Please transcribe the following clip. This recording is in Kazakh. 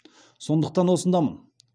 сондықтан осындамын